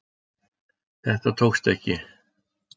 Þetta tókst ekki